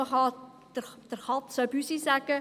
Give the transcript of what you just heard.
Man kann der Katze auch Büsi sagen;